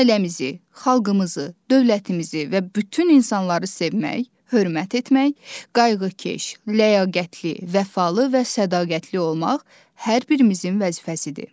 Ailəmizi, xalqımızı, dövlətimizi və bütün insanları sevmək, hörmət etmək, qayğıkeş, ləyaqətli, vəfalı və sədaqətli olmaq hər birimizin vəzifəsidir.